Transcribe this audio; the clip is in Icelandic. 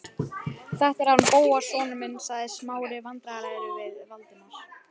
Þetta er hann Bóas sonur minn- sagði Smári vandræðalegur við Valdimar.